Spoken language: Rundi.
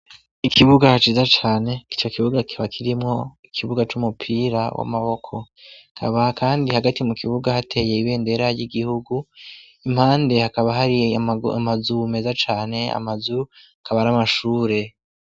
Ikibuga haciza cane ico kibuga kiba kirimwo ikibuga c'umupira w'amaboko kabah, kandi hagati mu kibuga hateye ibendera ry'igihugu impande hakaba harie amazu meza cane amazu akaba ari amashure.